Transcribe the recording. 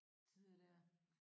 Tider der